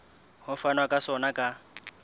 ho fanwa ka sona ka